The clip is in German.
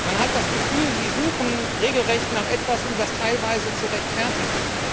Man hat das Gefühl, Sie suchen regelrecht nach etwas, um das teilweise zu rechtfertigen.